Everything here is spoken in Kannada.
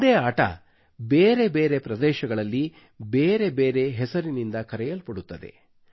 ಒಂದೇ ಆಟ ಬೇರೆ ಬೇರೆ ಪ್ರದೇಶಗಳಲ್ಲಿ ಬೇರೆ ಬೇರೆ ಹೆಸರಿನಿಂದ ಕರೆಯಲ್ಪಡುತ್ತದೆ